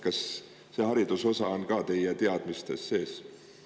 Kas see hariduse osa on ka teie teadmiste järgi seal sees?